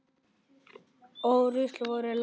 Ó rusl vors lands.